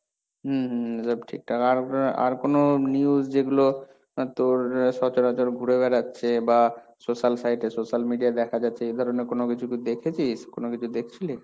হম, হম, এসব ঠিকঠাক, আর আর কোন news যেগুলো তোর সচরাচর ঘুরে বেড়াচ্ছে, বা social sites এ social media দেখা যাচ্ছে এই ধরনের কোন কিছু কি দেখেছিস? কোন কিছু দেখছিলি?